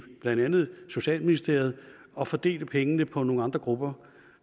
blandt andet socialministeriet at fordele pengene på nogle andre grupper